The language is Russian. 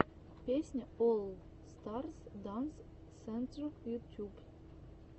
песня олл старс данс сентр ютьюб